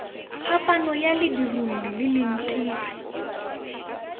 phapano ya ledirolli le leitiri